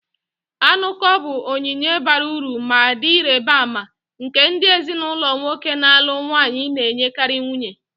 Anuko bụ onyinye bara uru ma dị ịrịba ama, nke ndị ezinụlọ nwoke na-alụ nwanyi na-enyekarị nwunye.